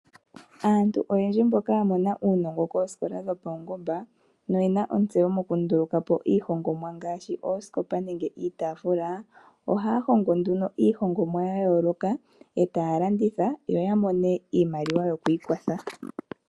Aantu oyendji mboka yamona uunongo koskola dho paungomba no yena ontseyo mokulukapo iihongonwa ngaashi oskopa nenge itafula. Ohaya hongo nduno iihongonwa yayoloka etaya landitha yo yamone iimaliwa yokwikwatha.